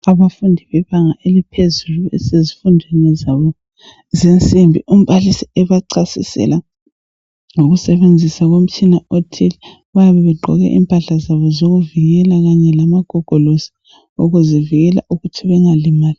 Abafundi bebanga eliphezulu basezifundweni zabo zensimbi umbalisi ebachasisela ngokusebenzisa umtshina othile. Bayabe begqoke impahla zabo zokuvikela kanye lamagogolosi ukuzivikela ukuthi bengalimali